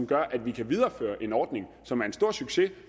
gør at vi kan videreføre en ordning som er en stor succes